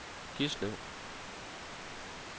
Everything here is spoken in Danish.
Gislev